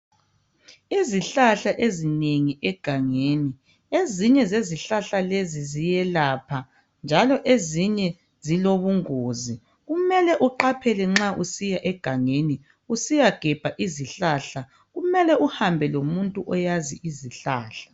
Izihlahla ezinengi egangeni, ezinye zezihlahla lezi ziyelapha njalo ezinye zilobungosi. Kumele uqaphele nxa usiya egangeni usiyagemba zihlahla. Kumele uhambe lomuntu oyazi izihlahla.